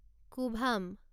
কুভাম